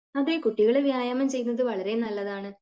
അതെ കുട്ടികൾ വ്യായാമം ചെയ്യുന്നത് വളരെ നല്ലതാണ്